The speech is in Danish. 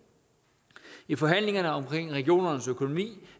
i forhandlingerne om regionernes økonomi